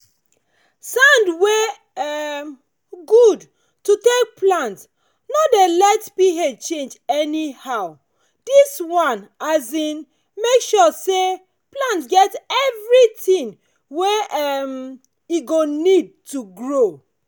early momo waka for field dey help us see grass wey no get use as them dey start before them go grow plenty cover everywhere